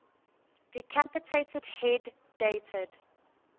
decapitated head dated